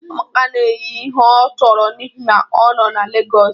Amaka na-eyi ihe ọ chọrọ n'ihi na ọ nọ na Lagos